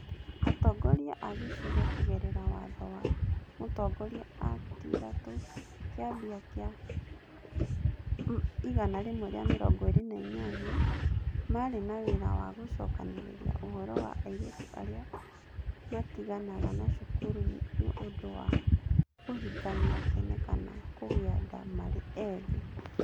Atongoria a gĩcigo kũgerera Watho wa Mũtongoria Act3 Kĩambi kĩa 128 marĩ na wĩra wa gũcokanĩrĩria ũhoro wa airĩtu arĩa matiganaga na cukuru nĩ ũndũ wa kũhikania tene kana kũgĩa nda marĩ ethĩ.